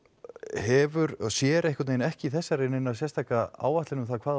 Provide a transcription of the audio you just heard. hefur og sér ekki í þessu neina sérstaka áætlun um hvað